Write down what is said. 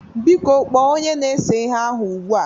Biko kpoo Onye na-ese ihe ahu ugbua!